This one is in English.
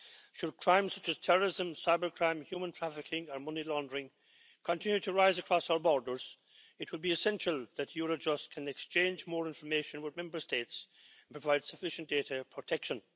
Should crimes such as terrorism, cybercrime, human trafficking and money laundering, continue to rise across our borders, it will be essential that Eurojust can exchange more information with Member States and provide sufficient data protection.